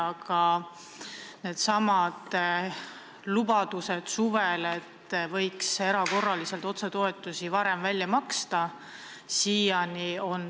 Aga jah, need suvised lubadused, et võiks erakorraliselt otsetoetusi hakata varem välja maksma, on täitmata.